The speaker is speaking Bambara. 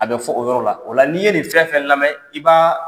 A bɛ fɔ o yɔrɔ la, o la n'i ye nin fɛn fɛn lamɛn i b'a